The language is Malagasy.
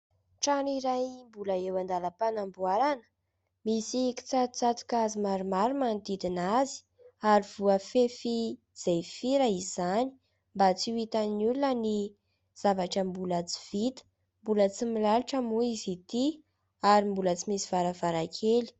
Trano iray mbola eo andalam-panamboarana, misy kitsatotsatoka hazo maromaro manodidina azy ary voafefy jefira izany mba tsy ho hitan'ny olona ny zavatra mbola tsy vita. Mbola tsy milalotra moa izy ity ary mbola tsy misy varavarankely.